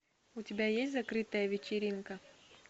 у тебя есть закрытая вечеринка